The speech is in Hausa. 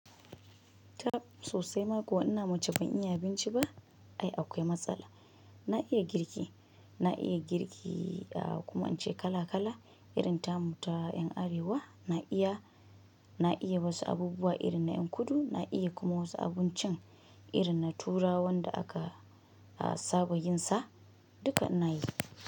Tab sosai makuwa ina mace ban iya abinci ba ai akwai matsala. Na iya girki, na iya girki kuma in ce kala kala irin tamuta 'yan arewa na iya, na iya wasu abubuwa irin na ƴan kudu na iya kuma wasu abincin irin na turawan da aka saba yin sa duka na yi.